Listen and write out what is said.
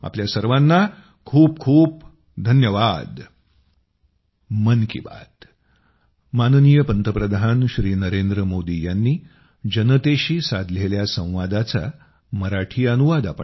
आपल्या सर्वांना खूप खूप धन्यवाद